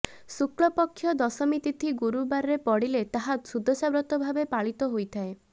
ଶୁକ୍ଳପକ୍ଷ ଦଶମୀ ତିଥି ଗୁରୁବାରରେ ପଡ଼ିଲେ ତାହା ସୁଦଶା ବ୍ରତ ଭାବେ ପାଳିତ ହୋଇଥାଏ